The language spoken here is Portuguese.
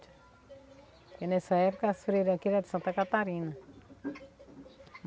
Porque nessa época as freira aqui era de Santa Catarina.